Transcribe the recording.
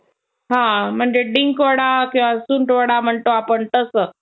अ म्हणजे डिंक वडा किंवा सुंठवडा म्हणतो आपण तसं